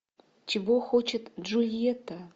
чего хочет джульетта